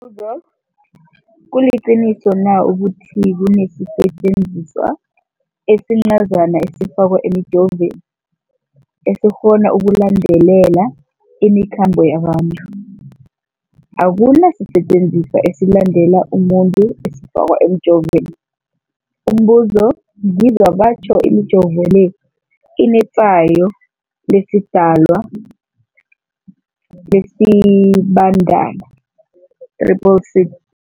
buzo, kuliqiniso na ukuthi kunesisetjenziswa esincazana esifakwa emijovweni, esikghona ukulandelela imikhambo yabantu? Akuna sisetjenziswa esilandelela umuntu esifakwe emijoveni. Umbuzo, ngizwa batjho imijovo le inetshayo lesiDalwa, lesiBandana 666.